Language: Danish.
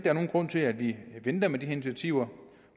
er nogen grund til at vi venter med de her initiativer